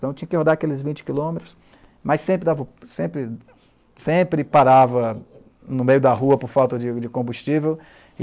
Então tinha que rodar aqueles vinte quilômetros, mas sempre dava o sempre, sempre parava no meio da rua por falta de de combustível.